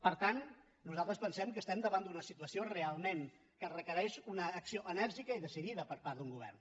per tant nosaltres pensem que estem davant d’una situació realment que requereix una acció enèrgica i decidida per part d’un govern